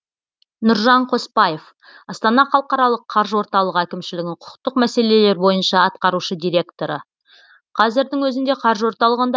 нұржан қоспаев астана халықаралық қаржы орталығы әкімшілігінің құқықтық мәселелері бойынша атқарушы директоры қазірдің өзінде қаржы орталығында